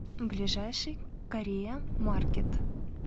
ближайший корея маркет